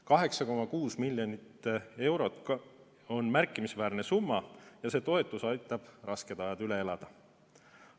8,6 miljonit eurot on märkimisväärne summa ja see toetus aitab rasked ajad üle elada.